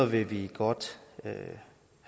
vil vi godt have